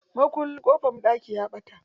Makullin ƙofan banɗaki ya ɓata.